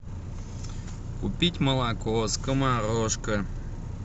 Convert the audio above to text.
купить молоко скоморошка